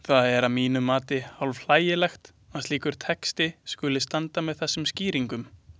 Það er að mínu mati hálfhlægilegt að slíkur texti skuli standa með þessum skýringum.